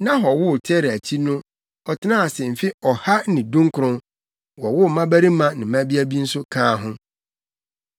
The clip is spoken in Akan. Nahor woo Tera akyi no ɔtenaa ase mfe ɔha ne dunkron, wowoo mmabarima ne mmabea bi nso kaa ho.